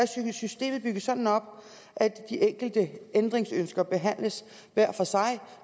systemet bygget sådan op at de enkelte ændringsønsker behandles hver for sig og